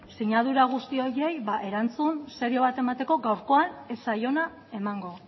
sinadura guzti horiei erantzun serio bat emateko gaurkoan ez zaiona emango